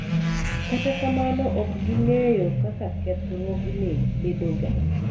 kata kamano ok ging'eyo kaka kethruogni bedoga